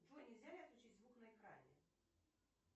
джой нельзя ли отключить звук на экране